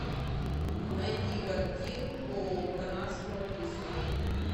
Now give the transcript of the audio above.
найди картинку канадского лиса